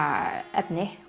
efni